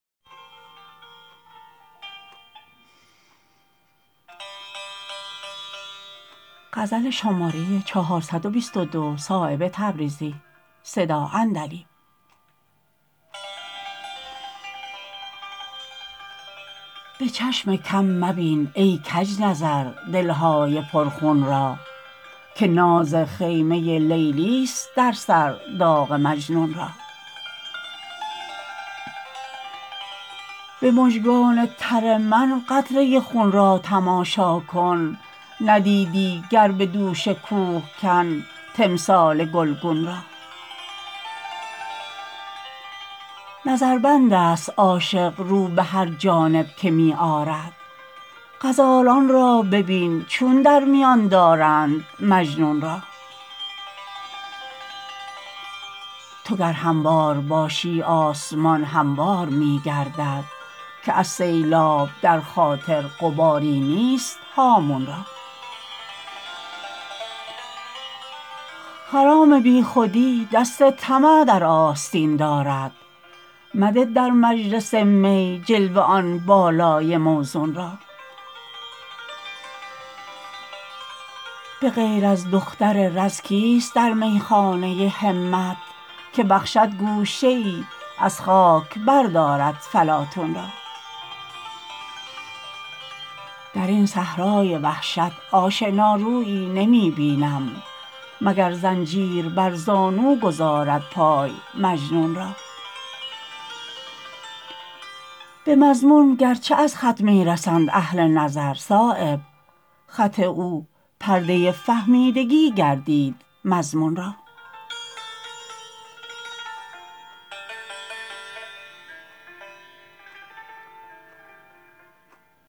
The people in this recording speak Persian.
به چشم کم مبین ای کج نظر دلهای پر خون را که ناز خیمه لیلی است در سر داغ مجنون را به مژگان تر من قطره خون را تماشا کن ندیدی گر به دوش کوهکن تمثال گلگون را نظربندست عاشق رو به هر جانب که می آرد غزالان را ببین چون در میان دارند مجنون را تو گر هموار باشی آسمان هموار می گردد که از سیلاب در خاطر غباری نیست هامون را خرام بیخودی دست طمع در آستین دارد مده در مجلس می جلوه آن بالای موزون را به غیر از دختر رز کیست در میخانه همت که بخشد گوشه ای از خاک بردارد فلاطون را درین صحرای وحشت آشنارویی نمی بینم مگر زنجیر بر زانو گذارد پای مجنون را به مضمون گرچه از خط می رسند اهل نظر صایب خط او پرده فهمیدگی گردید مضمون را